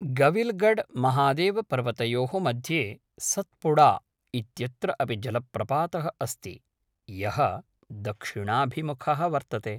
गविलगढ़महादेवपर्वतयोः मध्ये सत्पुड़ा इत्यत्र अपि जलप्रपातः अस्ति, यः दक्षिणाभिमुखः वर्तते।